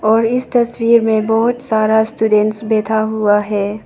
और इस तस्वीर में बहोत सारा स्टूडेंट बैठा हुआ है।